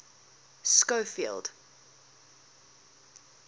schofield